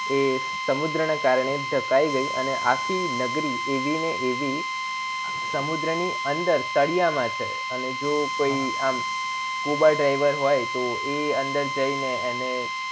એ સમુદ્ર ના કરને ધકાય ગય આખી નગરી રવી ને એવી સમુદ્ર ની અંદર તળિયા માં છે અને જો કોઈ અમ scuba diver જાય તો એ અંદર જઈને એને